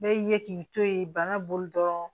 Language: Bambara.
Bɛɛ y'i ye k'i to ye bana bolo dɔrɔn